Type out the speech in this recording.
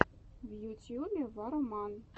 в ютьюбе варроман